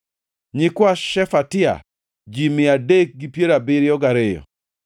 nyikwa Shefatia, ji mia adek gi piero abiriyo gariyo (372),